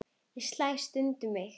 Ég slæ stundum um mig.